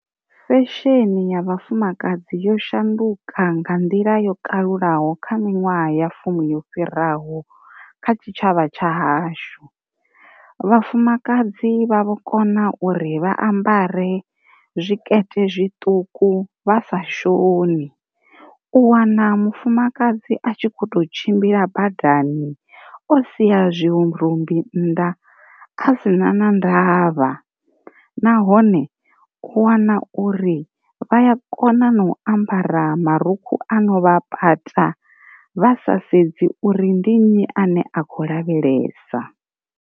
Sesheni ya vhafumakadzi yo shanduka nga nḓila yo kalulaho kha minwaha ya fumi yo fhiraho kha tshitshavha tsha hashu. Vhafumakadzi vha vho kona uri vha ambare zwi tshikete zwiṱuku vha sa shoni, u wana mufumakadzi a tshi kho to tshimbila badani o siya zwi rumbi nnḓa a si na na ndavha, nahone u wana uri vhaya kona na u ambara marukhu a novha pata vha sa sedzi uri ndi nnyi ane a kho lavhelesa.